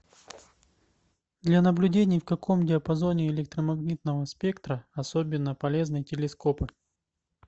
для наблюдений в каком диапазоне электромагнитного спектра особенно полезны телескопы